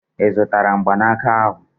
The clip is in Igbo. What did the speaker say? I zutara mgbanaka ahu?